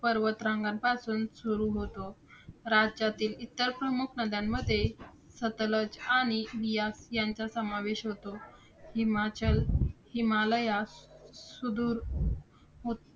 पर्वतरांगापासून सुरु होतो. राज्यातील इतर प्रमुख नद्यांमध्ये सतलज आणि बियास यांचा समावेश होतो. हिमाचल हिमालयास सुधुर हो~